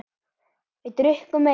Við drukkum meira.